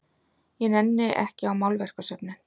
Ég nenni ekki á málverkasöfnin.